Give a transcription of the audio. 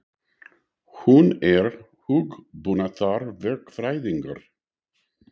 Hann er hugbúnaðarverkfræðingur.